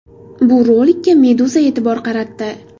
Bu rolikka Meduza e’tibor qaratdi .